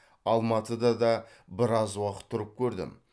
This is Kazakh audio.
алматыда да біраз уақыт тұрып көрдім